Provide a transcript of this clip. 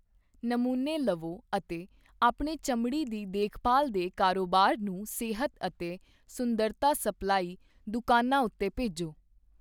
ਨਮੂਨੇ ਲਵੋ ਅਤੇ ਆਪਣੇ ਚਮੜੀ ਦੀ ਦੇਖਭਾਲ ਦੇ ਕਾਰੋਬਾਰ ਨੂੰ ਸਿਹਤ ਅਤੇ ਸੁੰਦਰਤਾ ਸਪਲਾਈ ਦੁਕਾਨਾ ਉੱਤੇ ਭੇਜੋ।